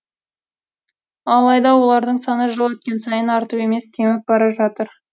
алайда олардың саны жыл өткен сайын артып емес кеміп бара жатыр